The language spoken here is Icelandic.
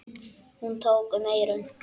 Hún tók um eyrun.